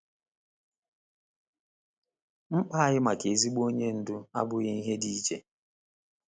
Mkpa anyị maka ezigbo onye ndu abụghị ihe dị iche.